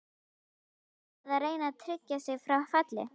Er félagið að reyna að tryggja sig frá falli?